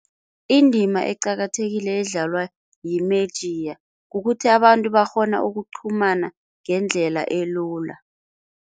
Indima eqakathekileko edlalwa yimediya kukuthi abantu bakghona ukuqhumana ngendlela elula.